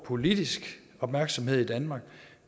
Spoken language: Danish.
politisk opmærksomhed i danmark